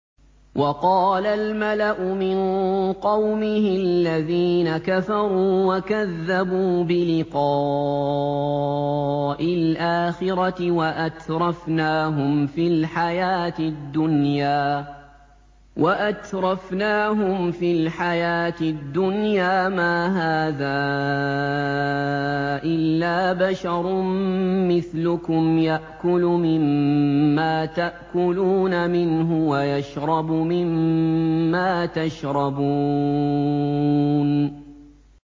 وَقَالَ الْمَلَأُ مِن قَوْمِهِ الَّذِينَ كَفَرُوا وَكَذَّبُوا بِلِقَاءِ الْآخِرَةِ وَأَتْرَفْنَاهُمْ فِي الْحَيَاةِ الدُّنْيَا مَا هَٰذَا إِلَّا بَشَرٌ مِّثْلُكُمْ يَأْكُلُ مِمَّا تَأْكُلُونَ مِنْهُ وَيَشْرَبُ مِمَّا تَشْرَبُونَ